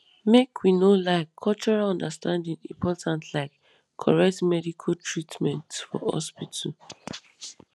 make we no lie cultural understanding important like correct medical treatment for hospital